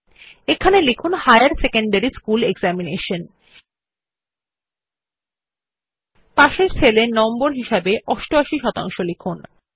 এখানে লিখুন higher secondary school examination এবং পার্শ্ববর্তী সেল এ নম্বর হিসাবে 88 শতাংশ লিখুন